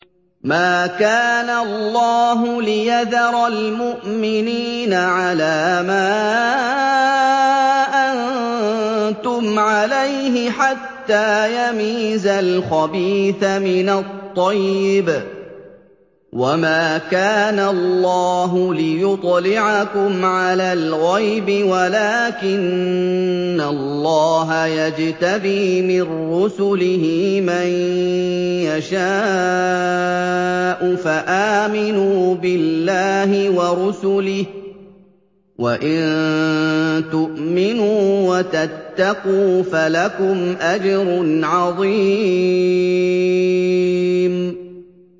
مَّا كَانَ اللَّهُ لِيَذَرَ الْمُؤْمِنِينَ عَلَىٰ مَا أَنتُمْ عَلَيْهِ حَتَّىٰ يَمِيزَ الْخَبِيثَ مِنَ الطَّيِّبِ ۗ وَمَا كَانَ اللَّهُ لِيُطْلِعَكُمْ عَلَى الْغَيْبِ وَلَٰكِنَّ اللَّهَ يَجْتَبِي مِن رُّسُلِهِ مَن يَشَاءُ ۖ فَآمِنُوا بِاللَّهِ وَرُسُلِهِ ۚ وَإِن تُؤْمِنُوا وَتَتَّقُوا فَلَكُمْ أَجْرٌ عَظِيمٌ